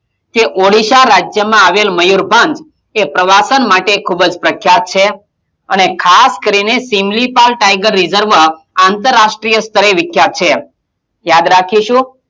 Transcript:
કે ઓડિશા રાજ્યમાં આવેલું મયુરભંજ એ પ્રવાસમ માટે ખૂબ જ પ્રખ્યાત છે અને ખાસ કરીને સિમલીપાલ tiger reserve આંતરાષ્ટ્રીય સ્તરે વિખ્યાત છે યાદ રાખીશું,